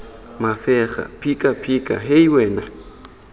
mafega phika phika hei wena